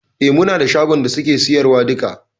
E, muna da shagon da suke siyarwa duka.